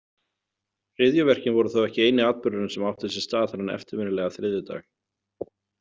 Hryðjuverkin voru þó ekki eini atburðurinn sem átti sér stað þennan eftirminnilega þriðjudag.